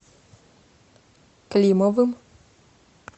климовым